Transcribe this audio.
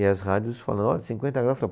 E as rádios falaram, olha, cinquenta graus.